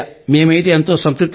మేమైతే ఎంతో సంతృప్తిగా ఉన్నాం